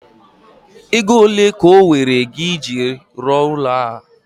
Ego ole ka owere gị eji rụọ ụlọ ahu?